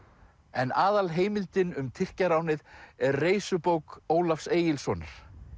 en aðalheimildin um Tyrkjaránið er Reisubók Ólafs Egilssonar